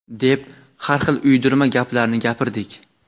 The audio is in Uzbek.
deb har xil uydirma gaplarni gapirdik.